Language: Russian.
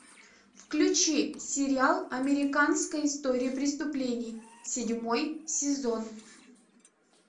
включи сериал американская история преступлений седьмой сезон